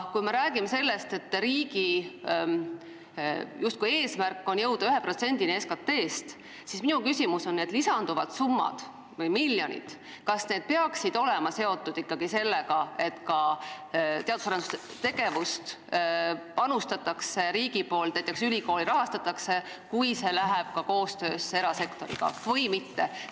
Kui me räägime sellest, et riigi eesmärk on justkui jõuda 1%-ni SKT-st, siis minu küsimus on, kas lisanduvad summad peaksid olema seotud ikkagi sellega, et ka teadus- ja arendustegevusse panustatakse riigi poolt, et näiteks ülikoole rahastatakse, kui on ka koostöö erasektoriga, või mitte?